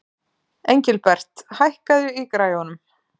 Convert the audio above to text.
Engilbert, hækkaðu í græjunum.